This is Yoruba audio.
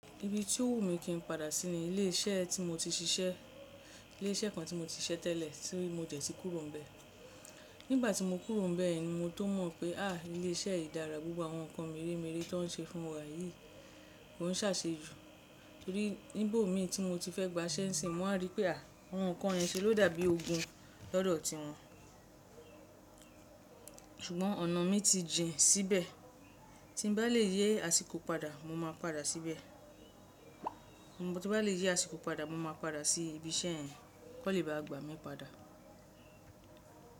Ibi tí ó wù mí kí n padà sí ni ilé iṣẹ́ tí mo ti ṣiṣẹ́, ilé iṣẹ́ kan tí mo ti ṣiṣẹ́ tẹ́lẹ̀ tí mo jẹ́ ti kúrò bẹ́ẹ̀. Nígbà tí mo kúrò bẹ́ẹ̀ ni mo tó mọ̀ pé à ilé iṣẹ́ yìí dára, gbogbo àwọn nǹkan merémeré tó ń ṣe fún wa yìí ò ń sàse ju. Nibo mi ti mo ti fe gba se ni sin ni mo ri pe àwọn ikan ye ni se lo dàbí ogun ni odo ti won. Ṣùgbọ́n ọ̀nà mi ti jìn síbẹ̀, tí n bá lè yé àsìkò padà mo máa padà síbẹ̀. Mo bá ti lè yé àsìkò padà mo máa padà sí ibi iṣẹ́ yẹn kó le bá gba mi padà.